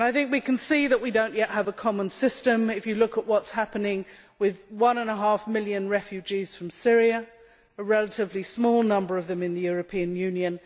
We can see that we do not yet have a common system if you look at what is happening with one and a half million refugees from Syria, a relatively small number of them in the European Union.